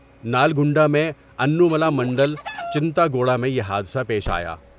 نالگنڈا میں Anumula mandal Chintaguda میں یہ حادثہ پیش آیا ۔